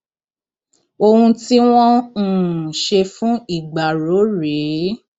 ohun tí wọn um ṣe fún ìgbárò rèé